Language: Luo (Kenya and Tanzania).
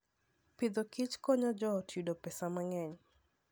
Agriculture and Foodkonyo joot yudo pesa mang'eny.